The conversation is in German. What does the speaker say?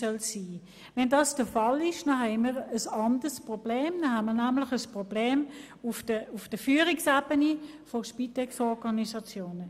Sollte dies der Fall sein, haben wir ein anderes Problem, nämlich eines auf der Führungsebene der Spitexorganisationen.